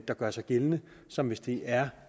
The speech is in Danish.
der gør sig gældende som hvis det er